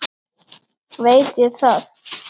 Veit ég það.